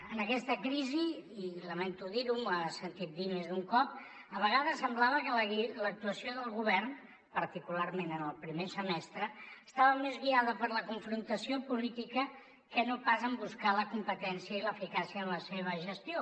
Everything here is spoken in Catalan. en aquesta crisi i lamento dir ho m’ho ha sentit dir més d’un cop a vegades semblava que l’actuació del govern particularment en el primer semestre estava més guiada per la confrontació política que no pas en buscar la competència i l’eficàcia en la seva gestió